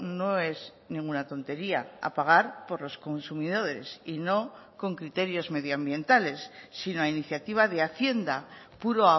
no es ninguna tontería a pagar por los consumidores y no con criterios medioambientales sino a iniciativa de hacienda puro